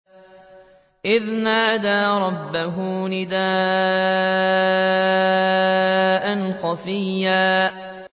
إِذْ نَادَىٰ رَبَّهُ نِدَاءً خَفِيًّا